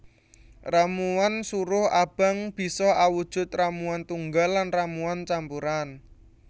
Ramuan suruh abang bisa awujud ramuan tunggal lan ramuan campuran